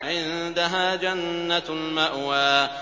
عِندَهَا جَنَّةُ الْمَأْوَىٰ